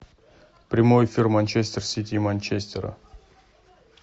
прямой эфир манчестер сити и манчестера